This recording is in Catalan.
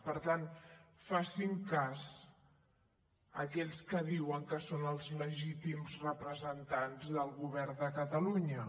per tant facin cas a aquells que diuen que són els legítims representants del govern de catalunya